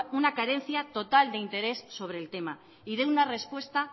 una carencia total de interés sobre el tema y dé una respuesta